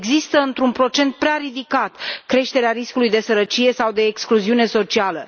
Există într un procent prea ridicat creșterea riscului de sărăcie sau de excluziune socială.